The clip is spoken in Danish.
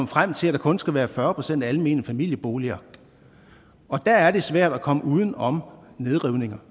frem til at der kun skal være fyrre procent almene familieboliger og der er det svært at komme uden om nedrivninger